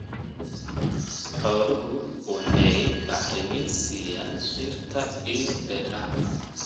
Xooluhu waxay bacrimin siiyaan dhirta iyo beeraha.